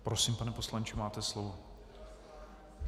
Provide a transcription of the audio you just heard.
Prosím, pane poslanče, máte slovo.